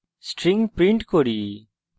তারপর string print করি